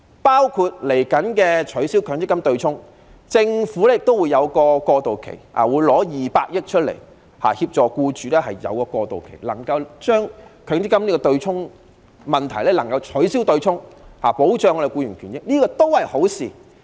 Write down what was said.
對於即將取消的強積金對沖安排，政府也會實施過渡期，並撥款200億元協助僱主度過這個階段，以解決強積金對沖的問題，保障僱員權益，這亦是一件好事。